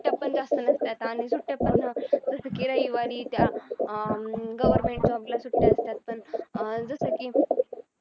त्यात पण जास्त नसतात आणि सुट्ट्या पण जसं की रविवारी त्या अं government सुट्ट्या असतात पण अं जसं की